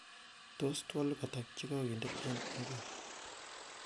tos twolik ata chegoginde en inguni